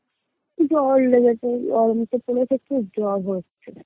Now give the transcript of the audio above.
জর লেগেছে, গরম তো পরেছে খুব জর হয়েছে